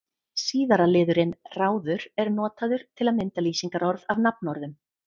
Síðara liðurinn-ráður er notaður til að mynda lýsingarorð af nafnorðum.